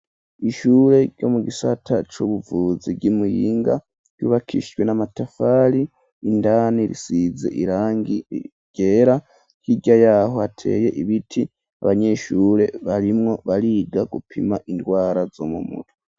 Ishure, ryo mu gisata c'ubuvuzi, ry'i Muyinga, ryubakishwe n'amatafari, indani risize irangi ryera; hirya y'aho hateye ibiti, abanyeshure, barimwo bariga, gupima ingwara, zo mu mutwe.